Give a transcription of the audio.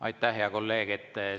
Aitäh, hea kolleeg!